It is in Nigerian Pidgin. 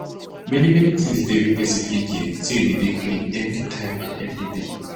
many many things dey we pesin fit gain say e dey dey clean everytime and every day